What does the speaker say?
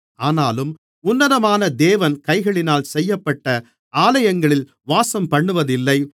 ஆனாலும் உன்னதமான தேவன் கைகளினால் செய்யப்பட்ட ஆலயங்களில் வாசம்பண்ணுவதில்லை